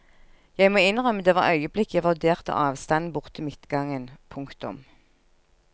Jeg må innrømme det var øyeblikk jeg vurderte avstanden bort til midtgangen. punktum